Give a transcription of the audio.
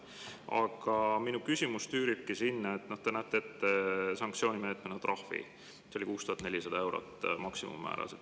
Aga minu küsimus tüürib sinna, et te näete sanktsioonimeetmena ette trahvi, see on 6400 eurot maksimummääras.